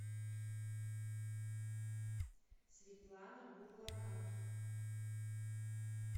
светлана бурлака